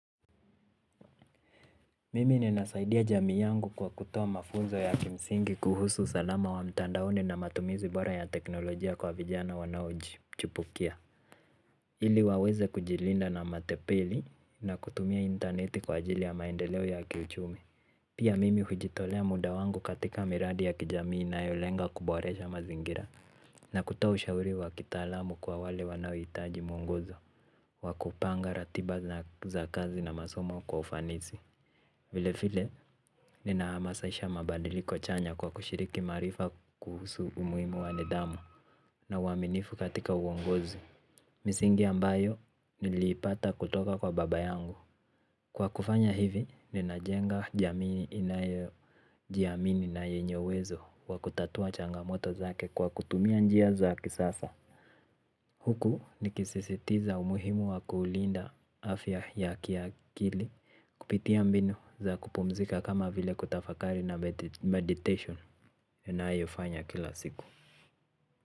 Mimi ninasaidia jamii yangu kwa kutoa mafuzo ya kimsingi kuhusu salama wa mtandaoni na matumizi bora ya teknolojia kwa vijana wanaoji chupukia. Ili waweze kujilinda na matepili na kutumia interneti kwa ajili ya maendeleo ya kiuchumi. Pia mimi hujitolea muda wangu katika miradi ya kijamii inayolenga kuboresha mazingira na kutoa ushauri wa kitaalamu kwa wale wanaohitaji mwongozo wa kupanga ratiba za kazi na masomo kwa ufanisi. Vile vile, ninahamasisha mabadiliko chanya kwa kushiriki marifa kuhusu umuhimu wa nidhamu na uwaminifu katika uongozi. Misingi ambayo, niliipata kutoka kwa baba yangu. Kwa kufanya hivi, ninajenga jamii inayo jiamini na yenye uwezo wa kutatua changamoto zake kwa kutumia njia za kisasa. Huku ni kisisitiza umuhimu wa kuulinda afya ya kia kili kupitia mbinu za kupumzika kama vile kutafakari na meditation ninayofanya kila siku.